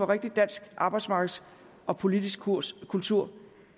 rigtig dansk arbejdsmarkedsmæssig og politisk kurs og kultur